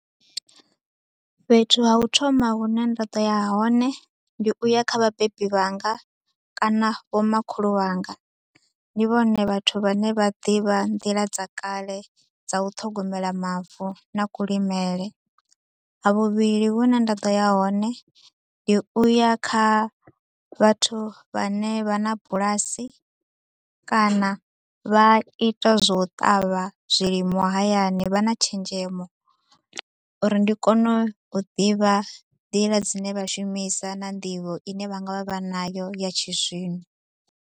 Fhethu ha u thoma hune nda ḓo ya hone ndi u ya kha vhabebi vhanga kana vho makhulu wanga. Ndi vhone vhathu vha ne vha ḓivha nḓila dza kale dza u ṱhogomela mavu na kulimele. Ha vhuvhili hune nda ḓo ya hone ndi u ya kha vhathu vha ne vha na bulasi kana vha ita zwa u ṱavha zwilimwa hayani, vha na tshenzhemo, uri ndi kone u ḓivha nḓila dzine vha shumisa na nḓivho i ne vha nga vha vha nayo ya tshizwino.